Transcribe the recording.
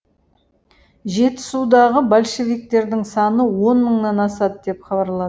жетісудағы большевиктердің саны он мыңнан асады деп хабарла